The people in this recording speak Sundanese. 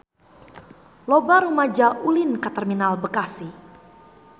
Loba rumaja ulin ka Terminal Bekasi